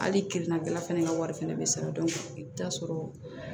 Hali kirina dilan fana ka wari fɛnɛ bɛ sara i bɛ taa sɔrɔ